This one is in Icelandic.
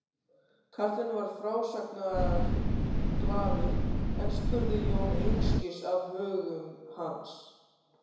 Karlinn var frásagnarglaður en spurði Jón einskis af högum hans.